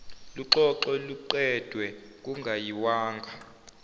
luxoxwe luqedwe kungayiwanga